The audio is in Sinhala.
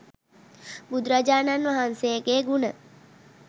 බුදුරජාණන් වහන්සේගේ ගුණ